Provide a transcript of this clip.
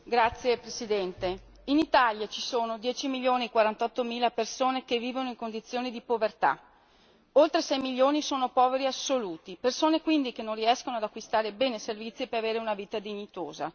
Signora Presidente, onorevoli colleghi, in Italia ci sono 10 milioni e 48 mila persone che vivono in condizioni di povertà. Oltre 6 milioni sono poveri assoluti, persone quindi che non riescono ad acquistare beni e servizi per avere una vita dignitosa.